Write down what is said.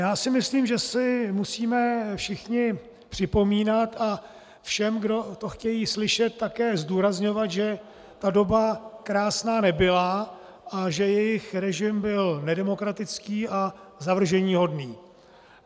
Já si myslím, že si musíme všichni připomínat, a všem, kdo to chtějí slyšet také zdůrazňovat, že ta doba krásná nebyla a že jejich režim byl nedemokratický a zavrženíhodný.